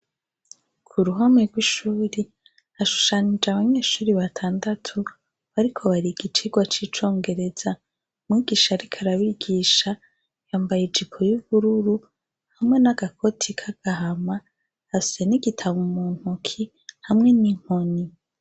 K'uruhome rw'ishure hashushanije abanyeshure batandatu bariko bariga icigwa c'icongereza. Mwigisha arik'arabigisha yambaye ijipo y'ubururu hamwe n'agakoti k'agahama afise n'igitabo muntoke hamwe n'inkoni.